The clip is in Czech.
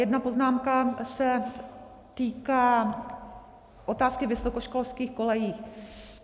Jedna poznámka se týká otázky vysokoškolských kolejí.